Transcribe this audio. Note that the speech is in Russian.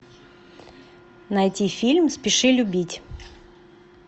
найти фильм спеши любить